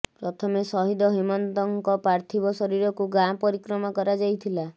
ପ୍ରଥମେ ସହିଦ ହେମନ୍ତଙ୍କ ପାର୍ଥିବ ଶରୀରକୁ ଗାଁ ପରିକ୍ରମା କରାଯାଇଥିଲା